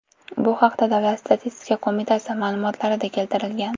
Bu haqda Davlat statistika qo‘mitasi ma’lumotlarida keltirilgan .